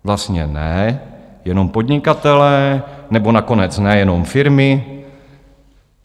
Vlastně ne, jenom podnikatelé, nebo nakonec ne, jenom firmy...